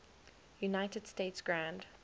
united states grand